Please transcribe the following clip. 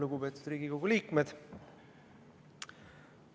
Lugupeetud Riigikogu liikmed!